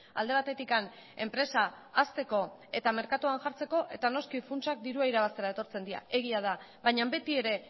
alde batetik enpresa hazteko eta merkatuan jartzeko eta noski funtsak dirua irabaztera etortzen dira egia da baina beti ere